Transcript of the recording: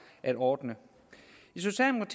at ordne